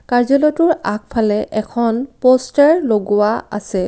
কাৰ্য্যালয়টোৰ আগফালে এখন প'ষ্টাৰ লগোৱা আছে।